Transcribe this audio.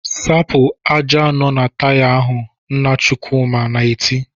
"Sapụ ájá nọ na Taya ahụ!" Nna Chukwuma na-eti.